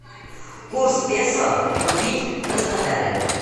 курс песо купить в краснодаре